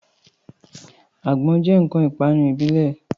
Àgbọn jẹ́ ǹkan ìpanu ìbílẹ̀